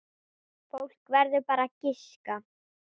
Fólk verður bara að giska.